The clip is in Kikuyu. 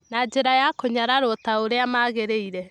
na njĩra ya kũnyararwo ta ũrĩa magĩrĩire.